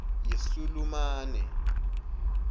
yesulumane